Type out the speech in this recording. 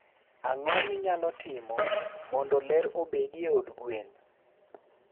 Ang'o minyalo timo mondo ler obedie e od gwen?